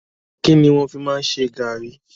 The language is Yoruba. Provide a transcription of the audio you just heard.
Kínní wọn fi máa ń ṣe garri?